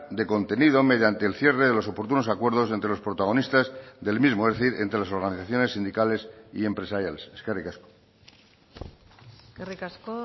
de contenido mediante el cierre de los oportunos acuerdos entre los protagonistas del mismo es decir entre las organizaciones sindicales y empresariales eskerrik asko eskerrik asko